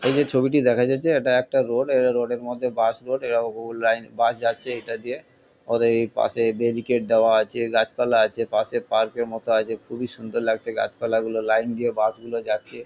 এই যে ছবিটি দেখা যাচ্ছে এটা একটা রোড . এই রোড - এর মধ্যে বাস রোড . এরাও ভুল লাইন বাস যাচ্ছে এটা দিয়ে। অতএব এই পাশে ব্যারিকেড দেওয়া আছে গাছপালা আছে। পাশে পার্ক - এর মতো আছে। খুবই সুন্দর লাগছে গাছপালাগুলো। লাইন দিয়ে বাস - গুলো যাচ্ছে ।